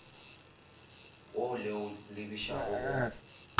wo le o lebišago go